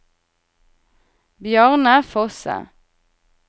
Bjarne Fosse